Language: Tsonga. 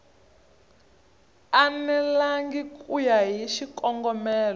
enelangi ku ya hi xikongomelo